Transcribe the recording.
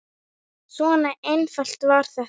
Svona einfalt var þetta.